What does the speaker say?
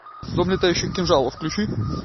дом летающих кинжалов включи